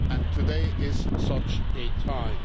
Today is such a time.